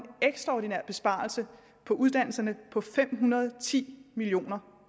ekstraordinær besparelse på uddannelserne på fem hundrede og ti million